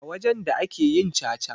A wajen da ake yin caca.